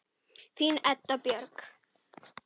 Þín Edda Björk.